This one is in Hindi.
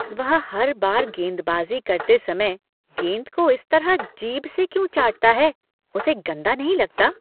वह हर बार गेंदबाजी करते समय गेंद को इस तरह जीभ से क्यों चाटता हैं, उसे गंदा नहीं लगता?